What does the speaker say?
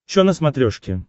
чо на смотрешке